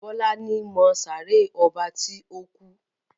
Bola ní ìmọ sáré ọba ti o kú.